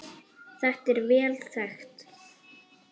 Þetta er vel þekkt.